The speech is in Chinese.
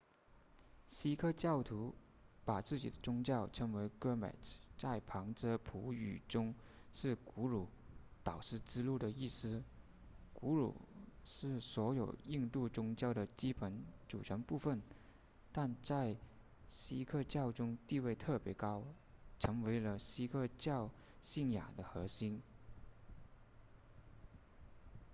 锡克教徒把自己的宗教称为 gurmat 在旁遮普语中是古鲁导师之路的意思古鲁是所有印度宗教的基本组成部分但在锡克教中地位特别高成为了锡克教信仰的核心